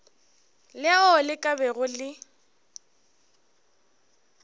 leo le ka bago le